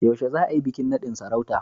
Yaushe za a yi bikin nadin sarauta?